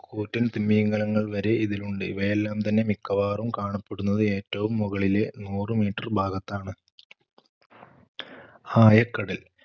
കൂറ്റൻ തിമിംഗലങ്ങൾ വരെ ഇതിലിലുണ്ട്. ഇവയെല്ലാം തന്നെ മിക്കവാറും കാണപ്പെടുന്നത് ഏറ്റവും മുകളിലെ നൂറു meter ഭാഗത്താണ്. ആയക്കടൽ